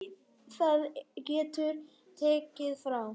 Það getur tekið frá